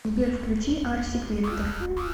сбер включи арсик вектор